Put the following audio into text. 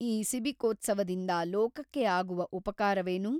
ಈ ಸಿಬಿಕೋತ್ಸವದಿಂದ ಲೋಕಕ್ಕೆ ಆಗುವ ಉಪಕಾರವೇನು?